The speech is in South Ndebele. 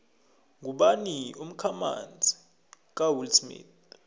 ngubani umkhamanzi kawillsmith